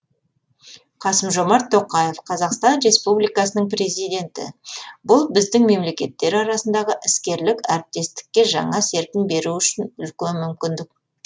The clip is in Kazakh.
қасым жомарт тоқаев қазақстан республикасының президенті бұл біздің мемлекеттер арасындағы іскерлік әріптестікке жаңа серпін беру үшін үлкен мүмкіндік